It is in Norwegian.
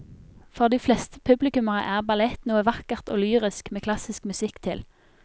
For de fleste publikummere er ballett noe vakkert og lyrisk med klassisk musikk til.